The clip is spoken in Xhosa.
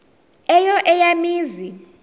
eyo eya mizi